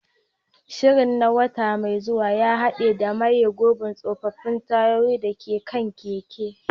Shirin na wata mai zuwa ya haɗa da maye gurbin tsofaffin tayoyin da ke kan keken.